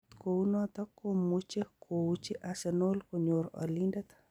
Agot kuunoton komuuche kouiiji Arsenal konyor olindet.